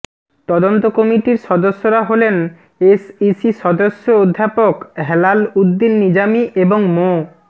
তদন্ত কমিটির সদস্যরা হলেন এসইসি সদস্য অধ্যাপক হেলালউদ্দীন নিজামী এবং মো